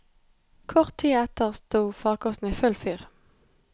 Kort tid etter sto farkosten i full fyr.